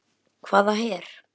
Afi Tommi er dáinn.